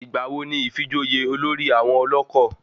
Ìgbà wo ni ifijoyè olórí àwọn ọlọ́kọ̀?